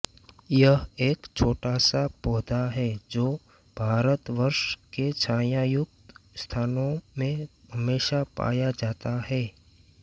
यह एक छोटासा पौधा है जो भारतवर्ष के छायायुक्त स्थानों में हमेशा पाया जाता हैं